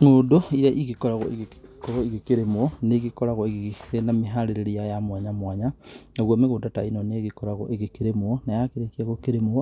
Ng'ũndũ iria igĩkoragwo igĩkorwo igĩkĩrĩmwo nĩigĩkoragwo irĩ na mĩharĩrĩrie ya mwanya mwanya. Naguo mĩgũnda ta ĩno nĩgĩkoragwo ĩgĩkĩrĩmwo na yakĩrĩkia gũkĩrĩmwo,